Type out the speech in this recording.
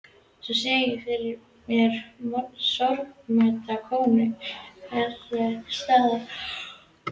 Enn sé ég fyrir mér sorgmædda konu einhvers staðar á